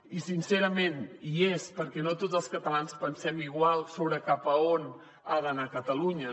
i sincerament hi és perquè no tots els catalans pensem igual sobre cap a on ha d’anar catalunya